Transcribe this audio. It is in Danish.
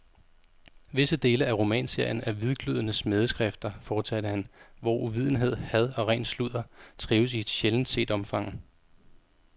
Visse dele af romanserien er hvidglødende smædeskrifter, fortsatte han, hvor uvidenhed, had og ren sludder trives i et sjældent set omfang.